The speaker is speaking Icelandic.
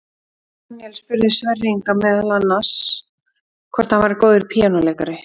Björn Daníel spurði Sverri Inga meðal annars hvort hann væri góður píanóleikari.